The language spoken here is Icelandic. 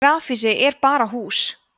grafhýsi er bara hús